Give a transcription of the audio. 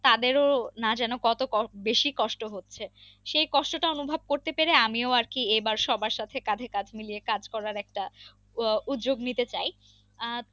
তাদেরও না যেন কত বেশি কষ্ট হচ্ছে সেই কষ্টটা অনুভব করতে পেরে আমিও আরকি এইবার সবার সাথে কাঁধে কাঁধ মিলিয়ে কাজ করার একটা আহ উদ্যোগ নিতে চাই আহ